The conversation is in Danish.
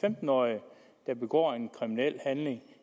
femten årig der begår en kriminel handling